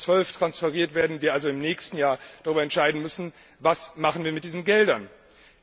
2012 transferiert werden, wir also im nächsten Jahr darüber entscheiden müssen, was wir mit diesen Geldern machen.